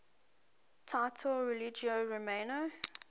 title religio romana